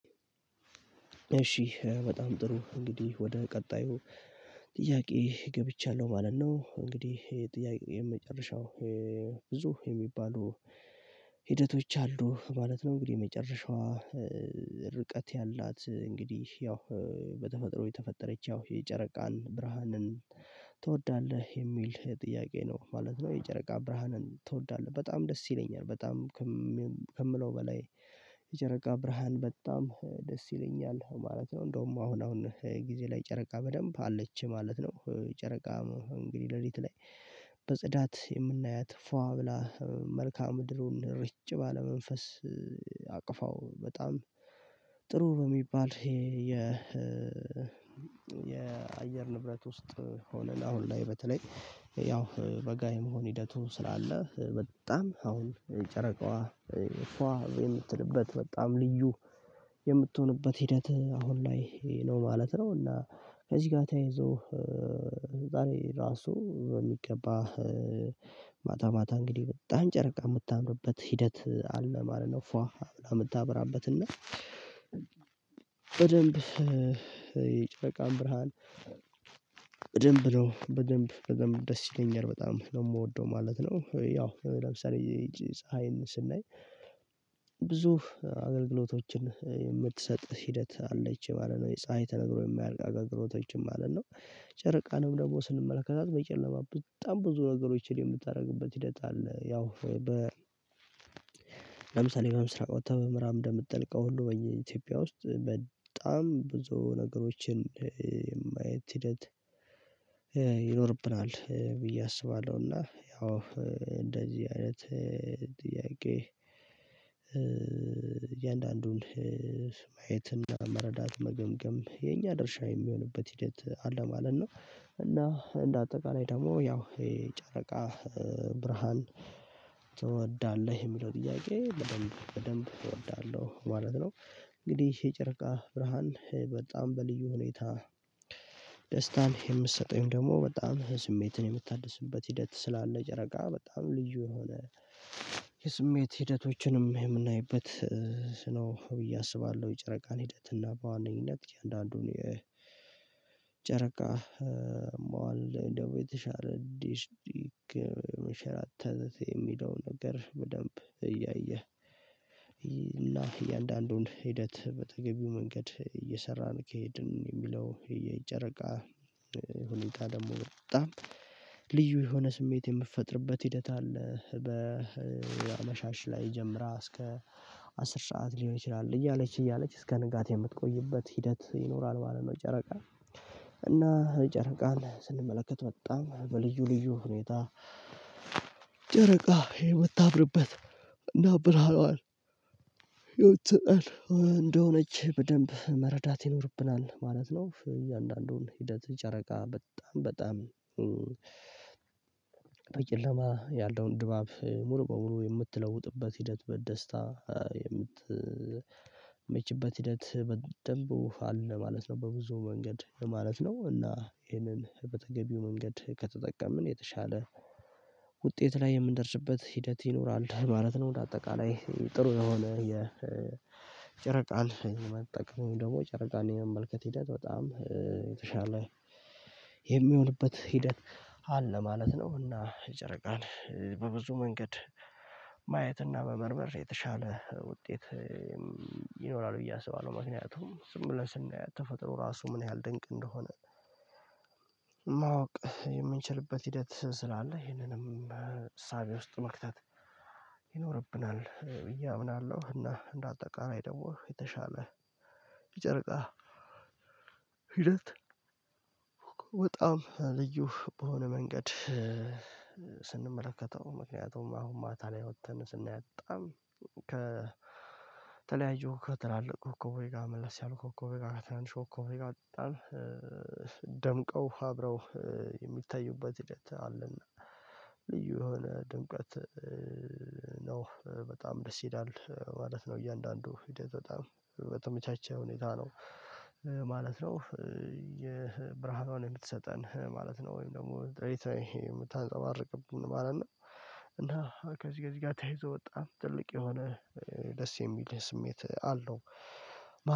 እሺ በጣም ጥሩ እንግዲህ ወደ ቀጣዩ ጥያቄ ገብቻለሁ ማለት ነው። እንግዲህ የጥያቄ የመጨረሻው ብዙ የሚባሉ ሂደቶች አሉ ማለት ነው። እንግዲህ የመጨረሻዋ ርቀት ያላት እንግዲህ ያው በተፈጥሮ የተፈጠረች ያው የጨረቃን ብርሃንን ትወዳለህ የሚል ጥያቄ ነው ማለት ነው? የጨረቃ ብርሃንን ትወዳለህ በጣም ደስ ይለኛል በጣም ከምለው በላይ የጨረቃ ብርሃን በጣም ደስ ይለኛል ማለት ነው። እንደውም አሁን አሁን ጊዜ ላይ ጨረቃ በደንብ አለች ማለት ነው። ጨረቃ እንግዲህ ለሊት ላይ በጽዳት የምናያት ፏ ብላ መልካአ ምድሩን ርጭ ባለ መንፈስ አቅፋው በጣም ጥሩ በሚባል የ የአየር ንብረት ውስጥ ሆነን ለአሁን ላይ በተለይ ያው በጋ የመሆን ሂደቱ ስላለ በጣም አሁን ጨረቃዋ ፏ የምትልበት በጣም ልዩ የምትሆንበት ሂደት አሁን ላይ ነው ማለት ነው። እና ከዚህ ጋር ተያይዞ ዛሬ ራሱ በሚገባ ማታ ማታ እንግዲህ በጣም ጨረቃ የምታምርበት ሂደት አለ ማለት ነው። ፏ ብላ የምታብራበትና በደንብ የጨቃን ብርሃን በደንብ ነው በደንብ በደንብ ደስ ይለኛል በጣም ነው የምወደው ማለት ነው። ያው ለምሳሌ ፀሀይን ስናይ ብዙ አገልግሎቶችን የምትሰጥ ሂደት አለች ማለት ነው የፀሀይ ተነግሮ የማያልቅ አገር አገልግቶችም ማለት ነው። ጨርቃንም ደግሞ ስንመለከታት በጨለማ በጣም ብዙ ነገሮችን የምታደርግበት ይሄዳል ያው ወይ በ ለምሳሌ በምስራቅ ወጥታ በምዕራብ እንደምትጠልቀው ሁሉ በኢትዮጵያ ውስጥ በጣም ብዙ ነገሮችን የማየት ሂደት ይኖርብናል ብዬ አስባለሁና። ያው እንደዚህ አይነት ጥያቄ እያንዳንዱን ማየትና መረዳት መገምገም የኛ ድርሻ የሚሆንበት ሂደት አለ ማለት ነው። እና እንደ አጠቃላይ ደግሞ ያው የጨረቃ ብርሃን ትወዳለህ የሚለው ጥያቄ በደንብ እወዳለሁ ማለት ነው። እንግዲህ የጨረቃ ብርሃን በጣም በልዩ ሁኔታ የምትሰጠኝ ደግሞ በጣም ስሜትን የምታድስበት ሂደት ስላለ ጨረቃ በጣም ልዩ የሆነ የስሜት ሂደቶችንም የምናይበት ነው ብዬ አስባለሁ። የጨረቃን ሂደት እና በዋነኝነት እያንዳንዱን የጨረቃ መዋል እንደው የተሻለ ዲሽዲክ መሸራት የሚለው ነገር በደንብ እያየ እና እያንዳንዱን ሂደት በተገቢው መንገድ እየሰራን ከሄድን የሚለው የጨረቃ ሁኔታ ደግሞ በጣም ልዩ የሆነ ስሜት የምትፈጥርበት ሂደት አለ በመሻሽ ላይ ጀምራ እስከ አስር ሰዓት ሊሆን ይችላል እያለች እያለች እስከ ንጋት የምትቆይበት ሂደት ይኖራል ማለት ነው። ጨረቃ እና ጨረቃን ስንመለከት በጣም በልዩ ልዩ ሁኔታ ጨረቃ የምታምርበት እና ብርሃኗን የምትሰጠን እንደሆነች በደንብ መረዳት ይኖርብናል ማለት ነው። እያንዳንዱን ሂደት ጨረቃ በጣም በጣም በጨለማ ያለውን ድባብ ሙሉ በሙሉ የምትለውጥበት ሂደት በደስታ የምትመችበት ሂደት በደንብ አለ ማለት ነው። በተብዙ መንገድ ማለት ነው እና ይሄንን በተገቢው መንገድ ከተጠቀምን የተሻለ ውጤት ላይ የምንደርስበት ሂደት ይኖራል ማለት ነው። በአጠቃላይ ጥሩ ለሆነ የ የጨረቃን የመጠቀም ደግሞ ጨረቃን የመመልከት ሂደት በጣም የተሻለ የሚሆንበት ሂደት አለ ማለት ነው። እና የጨረቃን በብዙ መንገድ ማየትና መመርመር የተሻለ ውጤት ይኖራል ብዬ አስባለሁ ምክንያቱም ዝም ብለን ስናየው ተፈጥሮ ራሱ ምን ያህል ድንቅ እንደሆነ ማወቅ የምንችልበት ሂደት ስላለ ይሄንንም እሳቤ ውስጥ መክተት ይኖርብናል ብዬ አምናለሁ። እና እንደ አጠቃላይ ደግሞ የተሻለ የጨርቃ ሂደት በጣም ልዩ በሆነ መንገድ ስንመለከተው ምክንያቱም አሁን ማታ ላይ ወጥተን ስናያት በጣም ከተለያዩ ከተላለቅ ኮኮብ ጋር መልስ ያሉ ኮኮብ ጋር ተናንሽ ኮኮቦች ጋር ደምቀው አብረው የሚታዩበት ሂደት አለና ልዩ የሆነ ድንቀት ነው በጣም ደስ ይላል ማለት ነው። እያንዳንዱ ሂደት በጣም በተመቻቸ ሁኔታ ነው ማለት ነው። የብርሃኗን የምትሰጠን ማለት ነው ወይም ደግሞ ጥሬ የምታንጸባርቅብን ማለት ነው። እና ከዚህ ከዚህ ጋር ተያይዞ በጣም ትልቅ የሆነ ደስ የሚል ስሜት አለው።